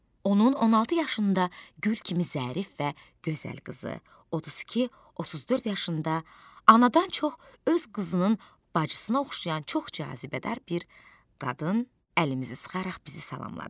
Onun 16 yaşında gül kimi zərif və gözəl qızı, 32-34 yaşında anadan çox öz qızının bacısına oxşayan çox cazibədar bir qadın əlimizi sıxaraq bizi salamladı.